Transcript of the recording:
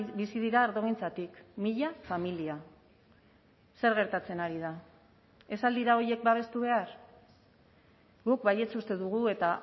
bizi dira ardogintzatik mila familia zer gertatzen ari da ez al dira horiek babestu behar guk baietz uste dugu eta